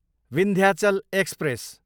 Vindhyachal express